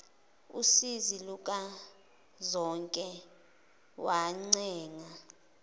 usizi lukazonke wancenga